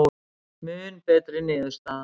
Mun betri niðurstaða